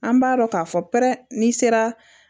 An b'a dɔn k'a fɔ pɛrɛn n'i sera